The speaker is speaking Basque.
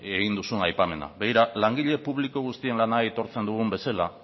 egin duzun aipamena begira langile publiko guztien lana aitortzen dugun bezala